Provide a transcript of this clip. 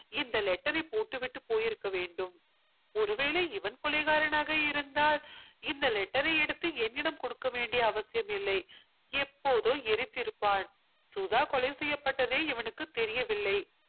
இந்த letter ஐ போட்டுவிட்டு போயிருக்க வேண்டும் ஒருவேளை இவன் கொலைகாரனாக இருந்தால் இந்த letter ஐ எடுத்து என்னிடம் கொடுக்க வேண்டிய அவசியம் இல்லை எப்போதோ எரித்திருப்பான் சுதா கொலை செய்யப்பட்டதே இவனுக்கு தெரியவில்லை